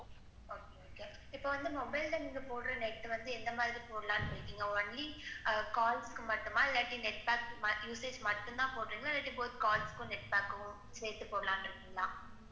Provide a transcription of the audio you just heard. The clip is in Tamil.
இப்ப வந்து mobile ல நீங்க போடுற net வந்து எந்த மாதிரி போடலாம்ன்னு இருக்கீங்க only ஆஹ் calls க்கு மட்டுமா இல்லாட்டி net pack usage மட்டும்தான்போடுறின்களா இல்ல both calls க்கும் net pack குக்கும் சேத்து போடலாம்ன்னு இருக்கீங்களா?